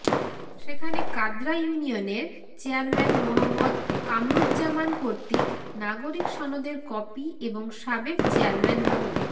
সেখানে কাদরা ইউনিয়নের চেয়ারম্যান মোহাম্মদ কামরুজ্জামান কর্তৃক নাগরিক সনদের কপি এবং সাবেক চেয়ারম্যান মো